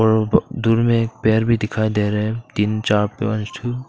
और दूर में एक पेड़ भी दिखाई दे रहा है तीन चार पांच ठो--